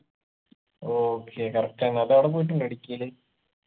okay correct ആണ് അതോ അവിടെ പോയിട്ടുണ്ടോ ഇടുക്കീല്